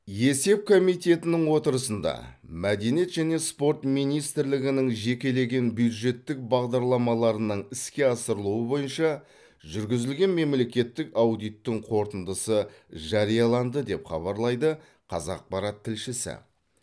есеп комитетінің отырысында мәдениет және спорт министрлігінің жекелеген бюджеттік бағдарламаларының іске асырылуы бойынша жүргізілген мемлекеттік аудиттің қорытындысы жарияланды деп хабарлайды қазақпарат тілшісі